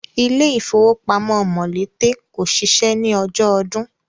Ilé ifówópamọ́ Mòlété kò ṣiṣẹ́ ní ọjọ́ ọdun